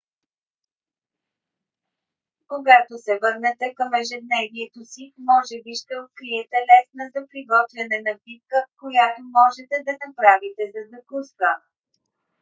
когато се върнете към ежедневието си може би ще откриете лесна за приготвяне напитка която можете да направите за закуска